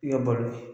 I ka balo